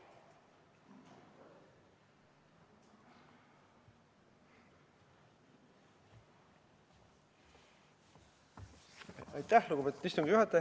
Aitäh, lugupeetud istungi juhataja!